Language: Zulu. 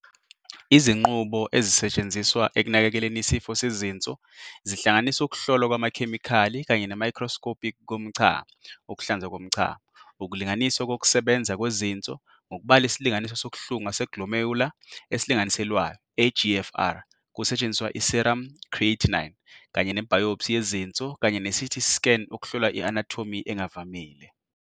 Izinqubo ezisetshenziswa ekunakekeleni isifo sezinso zihlanganisa ukuhlolwa kwamakhemikhali kanye ne-microscopic komchamo, ukuhlanzwa komchamo, ukulinganiswa kokusebenza kwezinso ngokubala isilinganiso sokuhlunga se-glomerular esilinganiselwayo, eGFR, kusetshenziswa i-serum creatinine, kanye ne-biopsy yezinso kanye ne-CT scan ukuhlola i-anatomy engavamile.